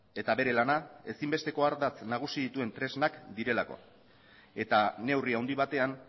eta bere lana ezinbesteko ardatz nagusi dituen tresnak direlako eta neurri handi batean